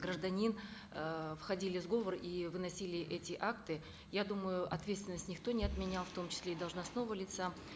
гражданин эээ входили в сговор и выносили эти акты я думаю ответственность никто не отменял в том числе и должностного лица